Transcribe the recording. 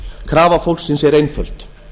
krafa fólksins er einföld